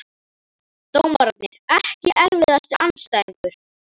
Dómararnir EKKI erfiðasti andstæðingur?